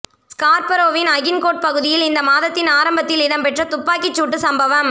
ஸ்கார்பரோவின் Agincourt பகுதியில் இந்த மாதத்தின் ஆரம்பத்தில் இடம்பெற்ற துப்பாக்கிச் சூட்டு சம்பவம்